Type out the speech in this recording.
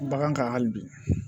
Bagan kan hali bi